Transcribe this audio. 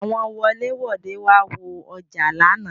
Àwọn wolẹ-wòde wá wo ọjà lánàá.